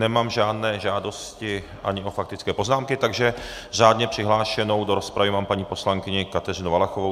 Nemám žádné žádosti ani o faktické poznámky, takže řádně přihlášenou do rozpravy mám paní poslankyni Kateřinu Valachovou.